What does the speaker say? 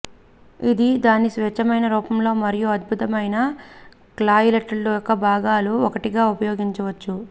ఇది దాని స్వచ్ఛమైన రూపంలో మరియు అద్భుతమైన కాక్టెయిల్స్ను యొక్క భాగాలు ఒకటిగా ఉపయోగించవచ్చు